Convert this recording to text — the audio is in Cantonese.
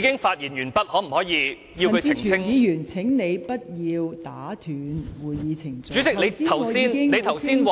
陳志全議員，請你不要打斷會議程序，剛才我已很清楚指出，